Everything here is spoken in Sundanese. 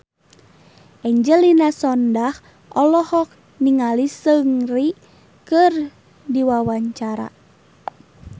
Angelina Sondakh olohok ningali Seungri keur diwawancara